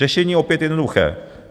Řešení opět jednoduché.